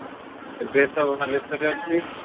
ଏବେ ଏବେ ବାଲେଶ୍ଵରରେ ଅଛି